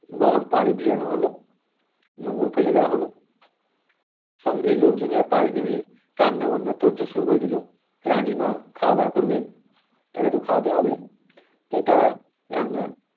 বড় পাড়ে ভেড়ানো হলো নোঙ্গর ফেলে দেওয়া হলো সঙ্গে লোকজন যারা পারে নেমে রান্নাবান্না তোর জোর শুরু করে দিল রানী মা খাওয়া-দাওয়া করবেন তাকে তো খাওয়াতে হবে তাই তারা রান্না